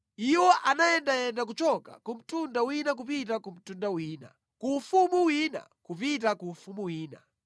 iwo anayendayenda kuchoka ku mtundu wina kupita ku mtundu wina, ku ufumu wina kupita ku ufumu wina.